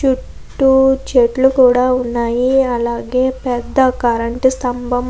చుట్టూ చెట్లు కూడా ఉన్నాయి అలాగే పెద్ద కరెంటు స్తంభం --